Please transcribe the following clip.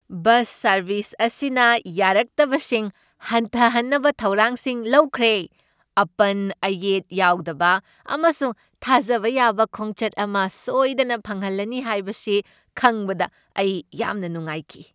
Bus service ꯑꯁꯤꯅ ꯌꯥꯔꯛꯇꯕꯁꯤꯡ ꯍꯟꯊꯍꯟꯅꯕ ꯊꯧꯔꯥꯡꯁꯤꯡ ꯂꯧꯈ꯭ꯔꯦ, ꯑꯄꯟ ꯑꯌꯦꯠ ꯌꯥꯎꯗꯕ ꯑꯃꯁꯨꯡ ꯊꯥꯖꯕ ꯌꯥꯕ ꯈꯣꯡꯆꯠ ꯑꯃ ꯁꯣꯏꯗꯅ ꯐꯪꯍꯜꯂꯅꯤ ꯍꯥꯏꯕꯁꯤ ꯈꯪꯕꯗ ꯑꯩ ꯌꯥꯝꯅ ꯅꯨꯡꯉꯥꯏꯈꯤ꯫